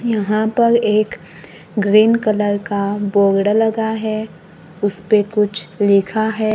यहां पर एक ग्रीन कलर का बोर्ड लगा है उसपे कुछ लिखा है।